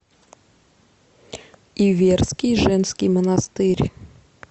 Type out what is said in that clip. иверский женский монастырь